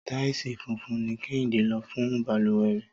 Táìsì funfun ni Kẹ́hìndé lò fún balùwẹ̀ rẹ̀